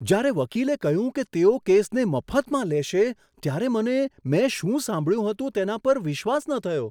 જ્યારે વકીલે કહ્યું કે તેઓ કેસને મફતમાં લેશે, ત્યારે મને મેં શું સાંભળ્યું હતું તેના પર મને વિશ્વાસ ન થયો.